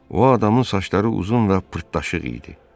O adamın saçları uzun və pırtlaşıq idi.